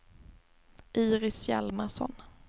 Iris Hjalmarsson